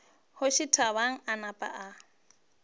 kgoši thabang a napa a